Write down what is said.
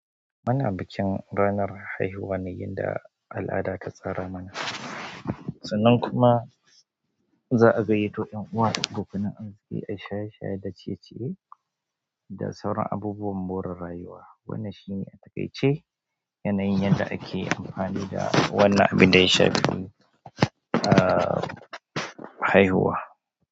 Muna bikin ranar haihuwa ne inda al'ada ta tsara mana. Sannan kuma za a gayyato 'yan uwa da abokanan arziki ai shaye-shaye da ciye-ciye da sauran abubuwan more rayuwa. Wannan shine, a takaice, yanayin da ake amfani da wannan abin da ya shafi, uh, haihuwa.